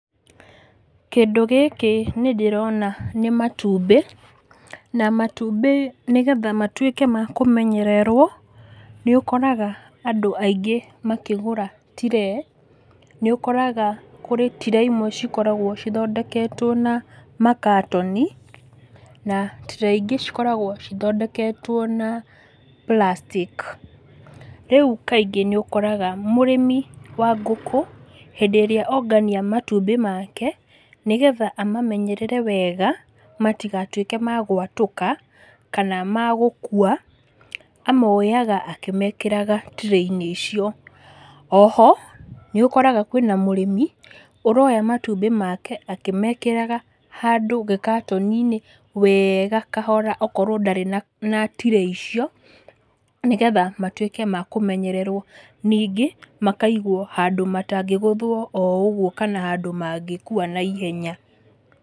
Kĩndũ gĩkĩ nĩndĩrona nĩ matumbĩ, na matumbĩ nĩgetha matwĩke ma kũmenyererwo, nĩũkoraga andũ aingĩ makĩgũra tiree, nĩũkoraga kũrĩ tiree imwe cikoragwo cithondeketwo na makatoni, na tiree ingĩ cikoragwo cithondeketwo na plastic. Rĩu kaingĩ nĩũkoraga mũrĩmi wa ngũkũ, hĩndĩ ĩrĩa ongania matumbĩ make, nĩgetha amamenyerere wega, nĩgetha matigatwĩke ma gwatũka, kana magũkua, amoyaga akĩmekĩraga tiree-inĩ icio. Oho, nĩũkoraga kwĩna mũrĩmi, ũroya matumbĩ make akĩmekĩraga handũ gĩkatoni-inĩ, wega kahora akorwo ndarĩ na na tiree icio, nĩgetha matwĩke makũmenyererwo, ningĩ, makaigwo handũ matangĩgũthwo oũguo kana handũ mangĩkua naihenya.